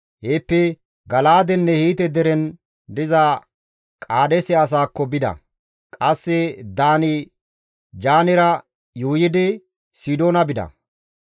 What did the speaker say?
Heeppe Gala7aadenne Hiite deren diza Qaadeese asaakko bida; qasse Daani-Jaanera yuuyidi Sidoona bida.